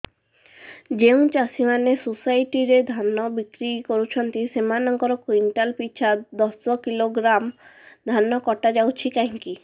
ଯେଉଁ ଚାଷୀ ମାନେ ସୋସାଇଟି ରେ ଧାନ ବିକ୍ରି କରୁଛନ୍ତି ସେମାନଙ୍କର କୁଇଣ୍ଟାଲ ପିଛା ଦଶ କିଲୋଗ୍ରାମ ଧାନ କଟା ଯାଉଛି କାହିଁକି